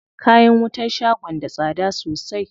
Kayan wutan shagon da tsada sosai.